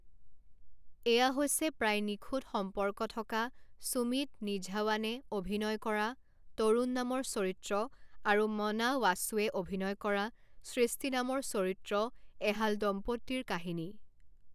এয়া হৈছে প্ৰায় নিখুঁত সম্পৰ্ক থকা সুমিত নিঝাৱানে অভিনয় কৰা তৰুণ নামৰ চৰিত্ৰ আৰু মনা ৱাচুৱে অভিনয় কৰা সৃষ্টি নামৰ চৰিত্ৰ এহাল দম্পতীৰ কাহিনী।